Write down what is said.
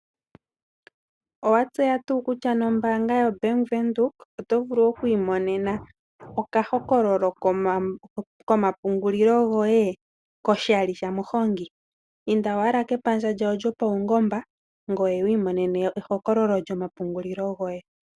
Owatseya tuu kutya nombaanga yo Bank Windhoek, oto vulu oku imonena oka hokololo komapungulilo goye koshali shamuhongi? Inda owala kepandja lyawo lyo paungomba opo wu mone ehokololo lyoma pungulilo goye.